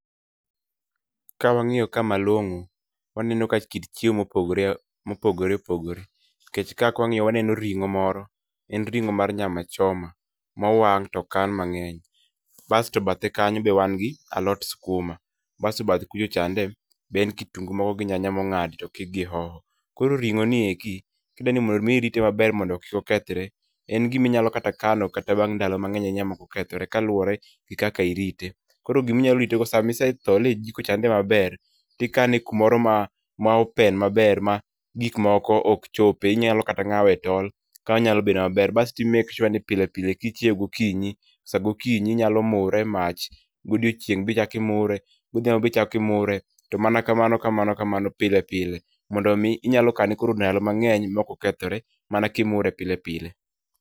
Ka wang'iyo ka malong'o, waneno ka kit chiemo mopogore opogore nikech kae ka wang'iyo waneno ring'o moro, en mar nyama choma mowang' to okan mang'eny. Basto bathe kanyo be wan gi alot skuma, basto bathe kucha chande be en kitungu moko gi nyanya mong'adi to okik gi hoho. Koro ring'o ni eki kidwani mondo mi rite maber mondo kik okethre, en gima inyalo kata kano kata bang' ndalo mang'eny ahinya ma ok okethore kaluowore gi kaka irite. Koro gima inyalo rite go sama isethole e jiko chande maber, tikane kumoro ma open maber ma gik moko ok chope, inyalo kata ng'awe e tol ka nyalo bedo maber. Basto i make sure ni pile pile kichieo gokinyi sa gokinyi inyalo mure e mach, godiochieng' bende ichako imure, godhiambo be ichako imure, to mana kamano kamano kamano pile pile, mondo mi inyalo kane koro ndalo mang'eny mok okethore mana ka imure pile pile.